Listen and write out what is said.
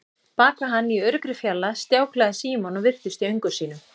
Bak við hann, í öruggri fjarlægð, stjáklaði Símon og virtist í öngum sínum.